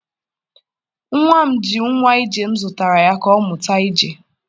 nwa m ji nwa ije m zụtara ya, ka ọ mụta ije.